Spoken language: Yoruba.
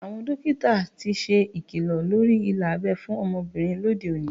Àwọn dókítà ti ṣe ikilọ lórí ilà abẹ́ fún ọmọbìnrin lóde òní